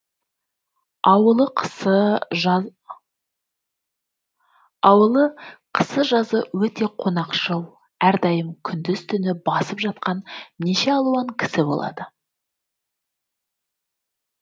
ауылы қысы жазы өте қонақшыл әрдайым күндіз түні басып жатқан неше алуан кісі болады